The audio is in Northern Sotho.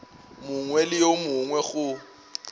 mongwe le yo mongwe go